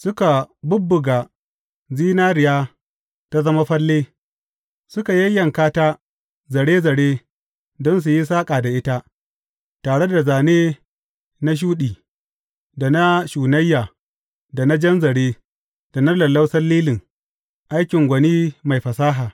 Suka bubbuga zinariya ta zama falle, suka yayyanka ta zare zare don su yi saƙa da ita, tare da zane na shuɗi, da na shunayya, da na jan zare, da na lallausan lilin, aikin gwani mai fasaha.